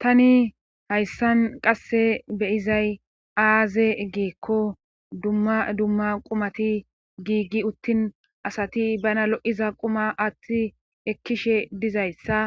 tani hayssan qasse beyizay aaze giikko dumma dumma qumati giiggi uttin asati bana lo7iza quma aathi ekkishe dizayssa